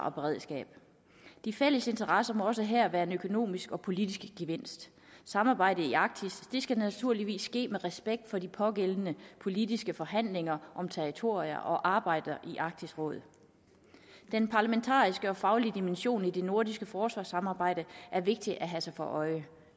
og beredskab de fælles interesser må også her være en økonomisk og politisk gevinst samarbejdet i arktis skal naturligvis ske med respekt for de pågående politiske forhandlinger om territorier og arbejdet i arktisk råd den parlamentariske og folkelige dimension i det nordiske forsvarssamarbejde er vigtigt at have sig for øje